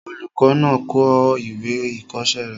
Olùkọ́ náà kọ ìwé ìkọ̀ọ́sẹ́ rẹ̀